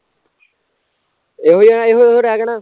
ਓਹੀ ਆ ਏਹੋ ਉਹੋ ਰਹਿ ਗਿਆ ਨਾ